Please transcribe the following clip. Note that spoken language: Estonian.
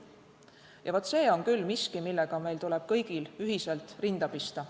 Ja vaat, see on küll miski, millega meil tuleb kõigil ühiselt rinda pista.